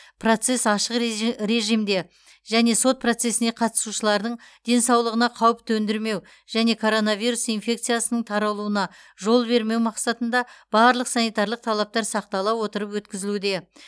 процесс ашық режи режимде және сот процесіне қатысушылардың денсаулығына қауіп төндірмеу және коронавирус инфекциясының таралуына жол бермеу мақсатында барлық санитарлық талаптар сақтала отырып өткізілуде